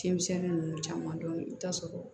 Fiɲɛmisɛnni nunnu caman dɔn i bɛ taa sɔrɔ